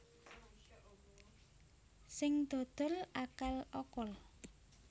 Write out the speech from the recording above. Sing dodol akal okol